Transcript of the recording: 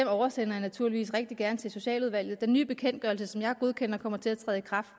oversender jeg naturligvis rigtig gerne til socialudvalget den nye bekendtgørelse som jeg godkender kommer til at træde i kraft